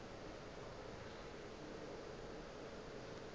le yena o ile a